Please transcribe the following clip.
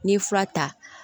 N'i ye fura ta